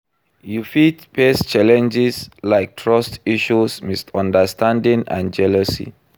You fit face challenges like trust issues, misunderstanding and jealousy.